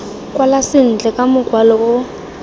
kwala sentle ka mokwalo o